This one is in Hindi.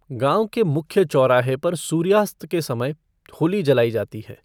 गांव के मुख्य चौराहे पर सूर्यास्त के समय होली जलाई जाती है।